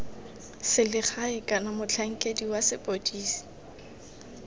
selegae kana motlhankedi wa sepodisi